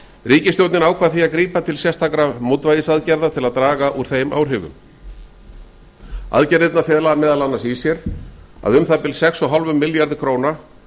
ríkisstjórnin ákvað því að grípa til sérstakra mótvægisaðgerða til að draga úr þeim áhrifum aðgerðirnar fela meðal annars í sér að umþb sex og hálfum milljarði króna